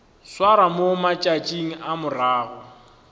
swarwa mo matšatšing a morago